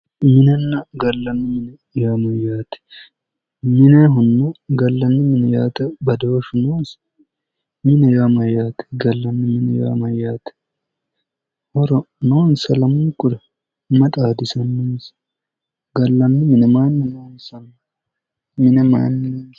Minenna gallanni mine yaanno yaate minehono gallani mine yaate badooshu noosi? Mineho yaa Mayyaate? galanni mine yaa Mayyaate? Horo noonisa lamunikura? mayi xaadisannonisa? gallanni mine mayinni loonissanni?